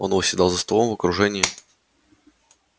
он восседал за столом в окружении